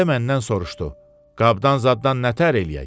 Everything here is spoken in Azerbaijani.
Mirzə məndən soruşdu: Qabdan zaddan nətər eləyək?